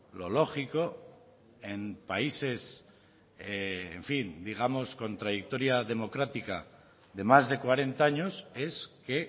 lo lógico en países en fin digamos con trayectoria democrática de más de cuarenta años es que